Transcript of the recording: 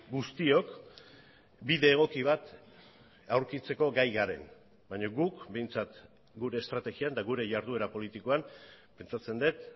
guztiok bide egoki bat aurkitzeko gai garen baina guk behintzat gure estrategian eta gure jarduera politikoan pentsatzen dut